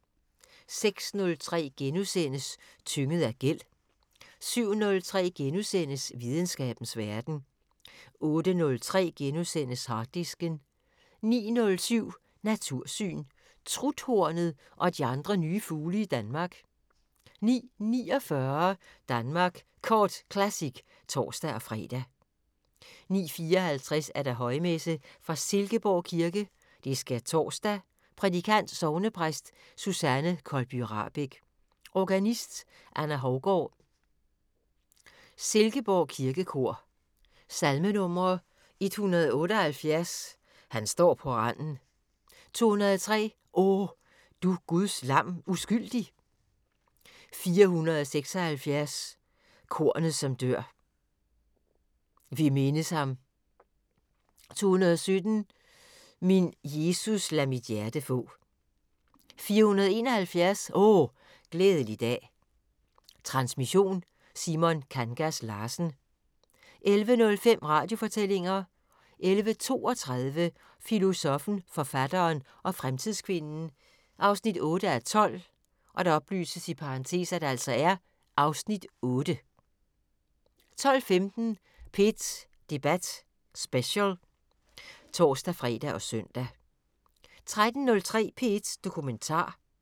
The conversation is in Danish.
06:03: Tynget af gæld * 07:03: Videnskabens Verden * 08:03: Harddisken * 09:07: Natursyn: Truthornet og de andre nye fugle i Danmark 09:49: Danmark Kort Classic (tor-fre) 09:54: Højmesse - fra Silkeborg Kirke. Skærtorsdag. Prædikant: Sognepræst Susanne Kolby Rahbek. Organist: Anna Hougaard. Silkeborg kirkekor. Salmenumre: 178: "Han står på randen". 203: "O du Guds Lam uskyldig". 476: "Kornet som dør". "Vi mindes ham". 217: "Min Jesus lad mit hjerte få". 471: "O glædelig dag". Transmission: Simon Kangas Larsen. 11:05: Radiofortællinger 11:32: Filosoffen, forfatteren og fremtidskvinden 8:12 (Afs. 8) 12:15: P1 Debat Special (tor-fre og søn) 13:03: P1 Dokumentar